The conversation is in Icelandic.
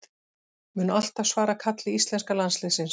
Mun alltaf svara kalli íslenska landsliðsins